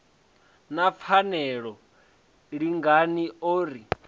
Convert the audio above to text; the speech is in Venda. na pfarelo lingani o ri